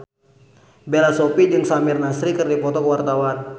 Bella Shofie jeung Samir Nasri keur dipoto ku wartawan